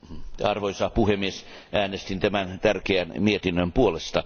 Arvoisa puhemies, äänestin tämän tärkeän mietinnön puolesta.